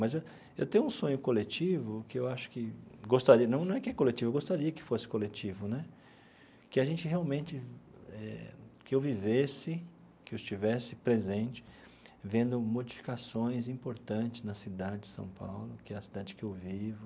Mas eu eu tenho um sonho coletivo que eu acho que gostaria, não não é que é coletivo, eu gostaria que fosse coletivo né, que a gente realmente eh, que eu vivesse, que eu estivesse presente vendo modificações importantes na cidade de São Paulo, que é a cidade que eu vivo,